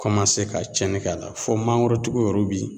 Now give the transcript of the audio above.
Kɔmanse ka cɛni k'a la fɔ mangoro tigi yɔrɔw bi